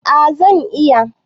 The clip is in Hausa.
A zan iya